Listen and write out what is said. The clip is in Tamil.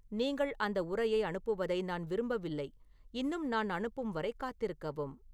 நீங்கள் அந்த உரையை அனுப்புவதை நான் விரும்பவில்லை இன்னும் நான் அனுப்பும் வரை காத்திருக்கவும்